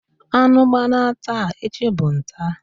Anu gbana taa, echi bu ntaa.